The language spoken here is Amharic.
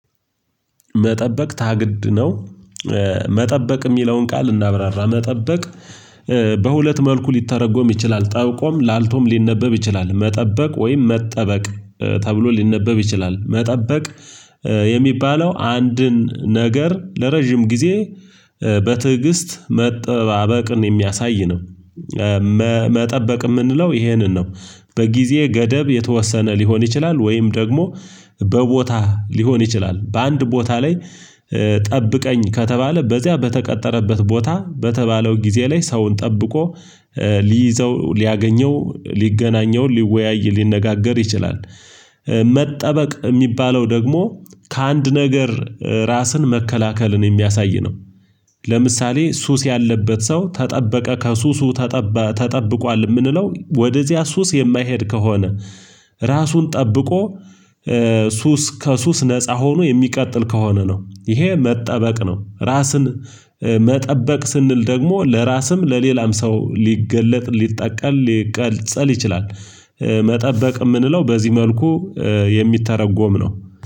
መጠበቅ ታግድ ነው። መጠበቅ የሚለውን ቃል እናብራራ መጠበቅ። በሁለት መልኩ ሊተረጎም ይችላል ጠብቆም ላልቶም ሊነበብ ይችላል መጠበቅ ወይም መጠበቅ ተብሎ ሊነበብ ይችላል መጠበቅ። የሚባለው አንድን ነገር ለረጅም ጊዜ በትዕግስት መጠባበቅን የሚያሳይ ነው። መጠበቅ የምንለው ይሄንን ነው። በጊዜ ገደብ የተወሰነ ሊሆን ይችላል ወይም ደግሞ በቦታህ ሊሆን ይችላል በአንድ ቦታ ላይ ጠብቀኝ ከተባለ በዚያ በተቀጠረበት ቦታ በተባለው ጊዜ ላይ ሰውን ጠብቆ ሊይዘው ሊያገኘው ሊገናኘው ሊወያይ ሊነጋገር ይችላል። መጠበቅ የሚባለው ደግሞ ከአንድ ነገር ራስን መከላከልን የሚያሳይ ነው። ለምሳሌ ሱስ ያለበት ሰው ተጠበቀ ከሱሱ። ተጠብቋል የምንለው ወደዚያ ሱስ የማይሄድ ከሆነ ራሱን ጠብቆ ሱስ ከሱስ ነፃ ሆኖ የሚቀጥል ከሆነ ነው ይሄ መጠበቅ ነው። ራስን መጠበቅ ስንል ደግሞ ለራስም ለሌላም ሰው ሊገለጥ ሊጠቀል ሊቀልጸል ይችላል። መጠበቅ የምንለው በዚህ መልኩ የሚተረጎም ነው።